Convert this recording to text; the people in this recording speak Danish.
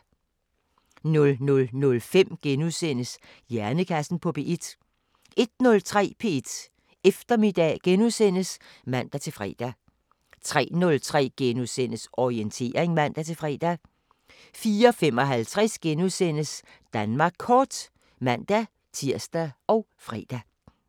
00:05: Hjernekassen på P1 * 01:03: P1 Eftermiddag *(man-fre) 03:03: Orientering *(man-fre) 04:55: Danmark kort *(man-tir og fre)